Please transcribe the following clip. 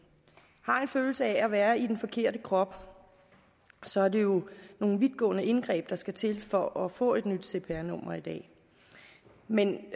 følelse af at være i den forkerte krop så er det jo nogle vidtgående indgreb der skal til for at få et nyt cpr nummer i dag men